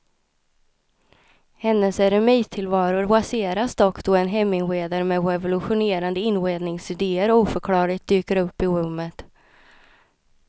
Hennes eremittillvaro raseras dock då en heminredare med revolutionerande inredningsidéer oförklarligt dyker upp i rummet.